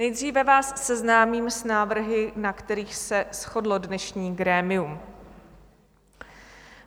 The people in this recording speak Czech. Nejdříve vás seznámím s návrhy, na kterých se shodlo dnešní grémium.